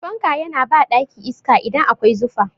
Fanka yana ba ɗaki iska idan akwai zufa.